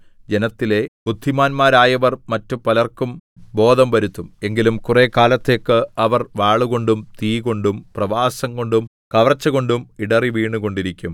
ജനത്തിലെ ബുദ്ധിമാന്മാരായവർ മറ്റുപലർക്കും ബോധം വരുത്തും എങ്കിലും കുറെക്കാലത്തേക്ക് അവർ വാളുകൊണ്ടും തീകൊണ്ടും പ്രവാസംകൊണ്ടും കവർച്ചകൊണ്ടും ഇടറിവീണുകൊണ്ടിരിക്കും